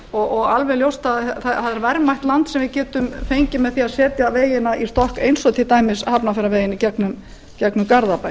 og alveg ljóst að það er verðmætt land sem við getum fengið með því að setja vegina í stokk eins og til dæmis hafnarfjarðarveginn í gegnum garðabæ